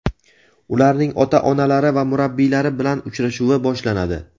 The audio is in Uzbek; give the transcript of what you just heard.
ularning ota-onalari va murabbiylari bilan uchrashuvi boshlanadi.